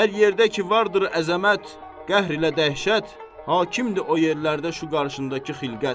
Hər yerdə ki vardır əzəmət, qəhr ilə dəhşət, hakimdir o yerlərdə şu qarşındakı xilqət.